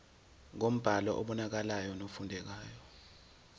ngombhalo obonakalayo nofundekayo